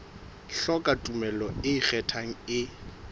hloka tumello e ikgethang e